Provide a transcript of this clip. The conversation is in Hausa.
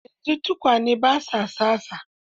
Yanzu tukwane ba sa tsatsa.